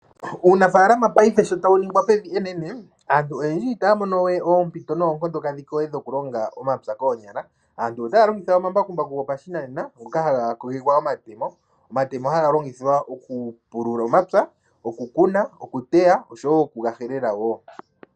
Uunafaalama payife sho tawu ningwa pevi enene aantu oyendji ita ya mono we oompito noonkondo kadhiko we dhoku longa omapya koonyala. Aantu ota ya longitha omambakumbu go pashi nanena ngoka ha ga kogekwa omatemo, omatemo ha ga longithwa oku pulula omapya ,okukuna, okuteya oshowo okuga helela woo.